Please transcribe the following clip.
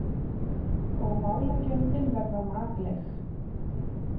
Og málagjöldin verða makleg.